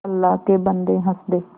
अल्लाह के बन्दे हंस दे